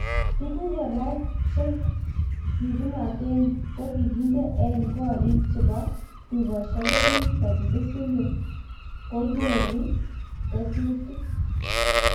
Tuguk kora cheng kipunaten ko kokideng eng koricheng chepo tukoshiek ko pik 36million ko nyoru nyetusiek